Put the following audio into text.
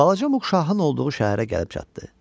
Balaca Muq şahın olduğu şəhərə gəlib çatdı.